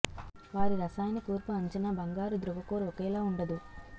వారి రసాయన కూర్పు అంచనా బంగారు ధ్రువ కోర్ ఒకేలా ఉండదు